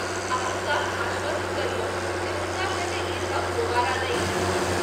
आ, हुनका आश्वस्त करियौन जे, हुनका संगे ई सभ दोबारा नहि हेतन्हि।